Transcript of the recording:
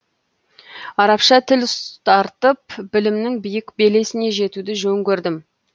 арабша тіл ұстартып білімнің биік белесіне жетуді жөн көрдім